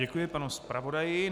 Děkuji panu zpravodaji.